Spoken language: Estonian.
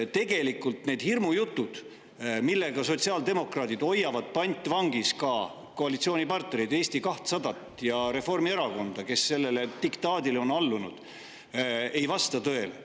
Tegelikult need hirmujutud, millega sotsiaaldemokraadid hoiavad pantvangis ka koalitsioonipartnereid, Eesti 200 ja Reformierakonda, kes sellele diktaadile on allunud, ei vasta tõele.